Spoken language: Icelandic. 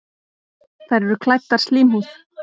Þær eru klæddar slímhúð.